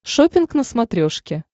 шоппинг на смотрешке